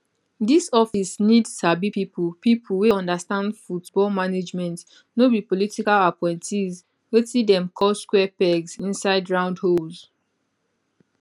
dis office need sabi pipo pipo wey understand football management no be political appointees wetin dem call square pegs inside round holes